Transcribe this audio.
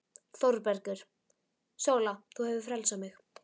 ÞÓRBERGUR: Sóla, þú hefur frelsað mig.